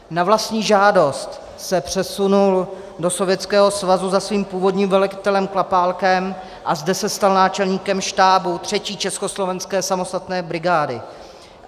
Na vlastní žádost se přesunul do Sovětského svazu za svým původním velitelem Klapálkem a zde se stal náčelníkem štábu 3. československé samostatné brigády.